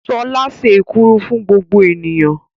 Ṣọlá se èkuru fún gbogbo ènìyàn.